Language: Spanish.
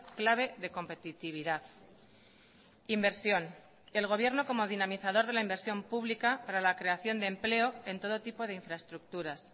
clave de competitividad inversión el gobierno como dinamizador de la inversión pública para la creación de empleo en todo tipo de infraestructuras